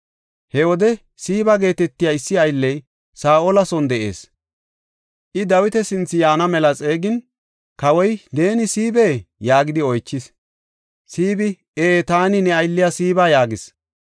He wode Siiba geetetiya issi aylley Saa7ola son de7ees. I Dawita sinthe yaana mela xeegin, kawoy, “Neeni Siibee?” yaagidi oychis. Siibi, “Ee, taani ne aylliya Siiba” yaagis.